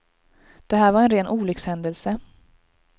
Det här var en ren olyckshändelse.